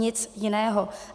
Nic jiného.